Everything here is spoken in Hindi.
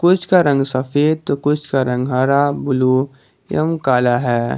कुछ का रंग सफेद तो कुछ का रंग हरा ब्लू एवं काला है।